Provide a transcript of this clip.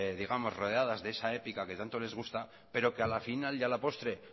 rodeadas de esa épica que tanto les gusta pero que a la final y a la postre